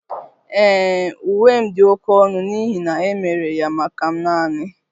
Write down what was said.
Ee, Uwe m dị oké ọnụ n'ihi na e mere ya maka m naani